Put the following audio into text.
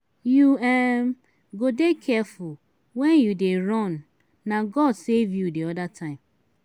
you um go dey careful wen you dey run na god save you the other time.